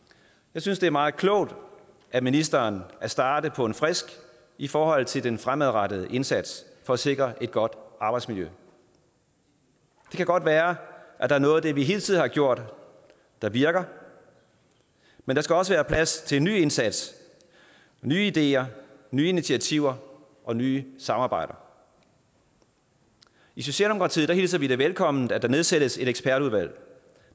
jeg synes det er meget klogt af ministeren at starte på en frisk i forhold til den fremadrettede indsats for at sikre et godt arbejdsmiljø det kan godt være at der er noget af det vi hele tiden har gjort der virker men der skal også være plads til en ny indsats nye ideer nye initiativer og nye samarbejder i socialdemokratiet hilser vi det velkommen at der nedsættes et ekspertudvalg